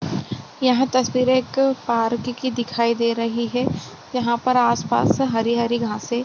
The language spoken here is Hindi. यह तस्वीर एक पार्क की दिखाई दे रही है | यहाँ पर आस-पास हरी-हरी घासे --